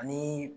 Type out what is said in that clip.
Ani